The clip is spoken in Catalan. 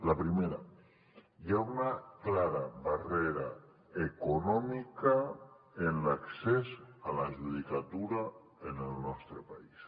la primera hi ha una clara barrera econòmica en l’accés a la judicatura en el nostre país